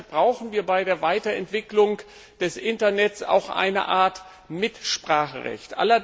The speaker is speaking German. Deshalb brauchen wir bei der Weiterentwicklung des Internets auch eine Art Mitspracherecht.